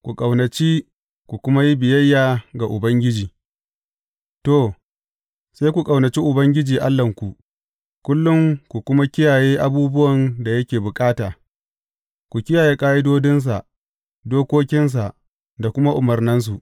Ku ƙaunaci ku kuma yi biyayya ga Ubangiji To, sai ku ƙaunaci Ubangiji Allahnku, kullum ku kuma kiyaye abubuwan da yake bukata, ku kiyaye ƙa’idodinsa, dokokinsa da kuma umarnansu.